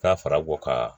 N'a fɔra ko ka